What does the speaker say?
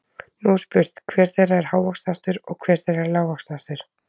Nú er spurt, hver þeirra er hávaxnastur og hver þeirra er lágvaxnastur?